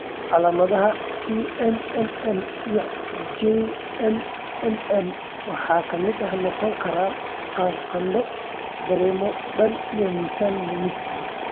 Calaamadaha CMML iyo JMML waxaa ka mid noqon kara qandho, dareemo daal iyo miisaan lumis.